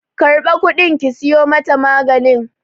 Karba kudin ki siyo mata maganin!